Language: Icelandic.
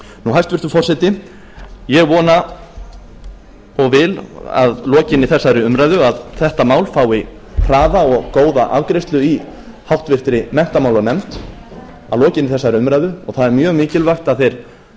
hæstvirtur forseti ég vona og a að lokinni þessari umræðu að þetta mál fái hraða og góða afgreiðslu í háttvirtri menntamálanefnd að lokinni þessari umræðu og það er mjög mikilvægt að þeir